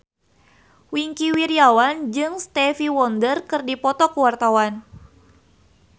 Wingky Wiryawan jeung Stevie Wonder keur dipoto ku wartawan